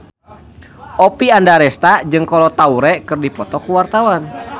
Oppie Andaresta jeung Kolo Taure keur dipoto ku wartawan